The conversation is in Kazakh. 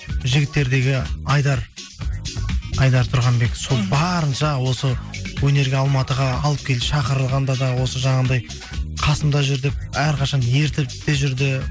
жігіттердегі айдар айдар тұрғанбек сол барынша осы өнерге алматыға алып келді шақырғанда да осы жаңағындай қасымда жүр деп әрқашан ертіп те жүрді